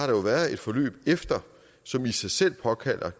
været et forløb efter som i sig selv påkalder